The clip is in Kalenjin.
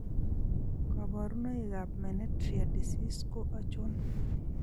Kaborunoik ab menetrier disease ko achon?